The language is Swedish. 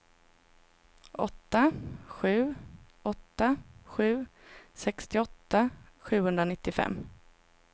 åtta sju åtta sju sextioåtta sjuhundranittiofem